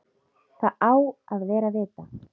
Það á að vera vita.